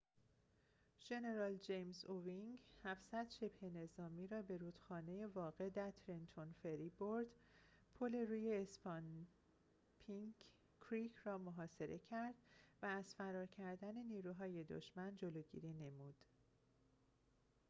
ژنرال جیمز اوینگ ۷۰۰ شبه‌نظامی را به رودخانه واقع در ترنتون فری برد پل روی اسانپینک کریک را محاصره کرد و از فرار کردن نیروهای دشمن جلوگیری نمود